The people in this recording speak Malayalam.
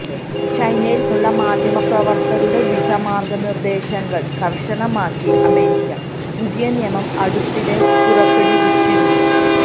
ചൈനയിൽ നിന്നുള്ള മാധ്യമപ്രവർത്തകരുടെ വിസ മാർഗനിർദ്ദേശങ്ങൾ കർശനമാക്കി അമേരിക്ക പുതിയ നിയമം അടുത്തിടെ പുറപ്പെടുവിച്ചിരുന്നു